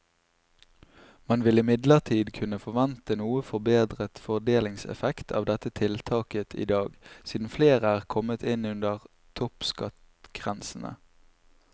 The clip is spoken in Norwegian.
Man vil imidlertid kunne forvente noe forbedret fordelingseffekt av dette tiltaket i dag, siden flere er kommet inn under toppskattgrensene.